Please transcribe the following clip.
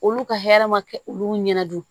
Olu ka hɛrɛ ma kɛ olu ɲɛna